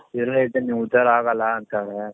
ಇಲ್ಲೇ ಇದ್ರೆ ನೀವು ಉದ್ಧಾರ ಆಗಲ್ಲ ಅಂತಾರೆ